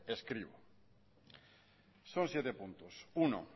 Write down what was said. escribo son siete puntos uno